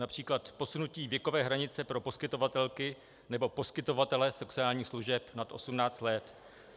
Například posunutí věkové hranice pro poskytovatelky nebo poskytovatele sexuálních služeb nad 18 let.